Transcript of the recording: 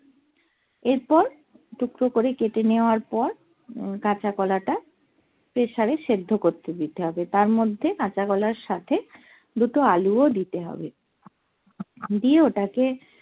এরপর টুকরো করে কেটে নেয়ার পর কাঁচা কলাটা প্রেসারে এ সেদ্ধ করতে দিতে হবে তার মধ্যে কাঁচা কলার সাথে দুটো আলুও দিতে হবে দিয়ে ওটাকে